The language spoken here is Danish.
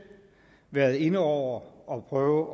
været inde over og prøvet